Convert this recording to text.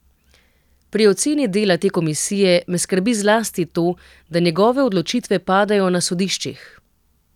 Pri oceni dela te komisije me skrbi zlasti to, da njegove odločitve padajo na sodiščih.